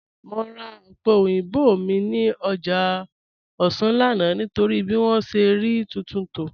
Mọ̀ rà òpẹ̀ oyinbọ̀ mi ni ọ́jà Òṣà lánà nítorí bí wọn ṣẹ̀ rí tuntun tó